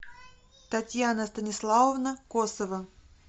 татьяна станиславовна косова